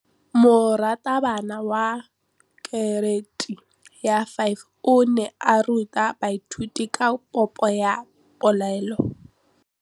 Moratabana wa kereiti ya 5 o ne a ruta baithuti ka popô ya polelô.